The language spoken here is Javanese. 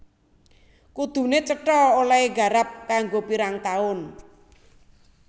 Kuduné cetha olèhé garap kanggo pirang taun